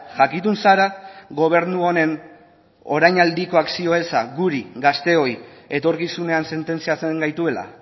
jakitun zara gobernu honen orainaldiko akzio eza guri gazteoi etorkizunean sententziatzen gaituela